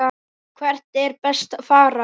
Hvert er best að fara?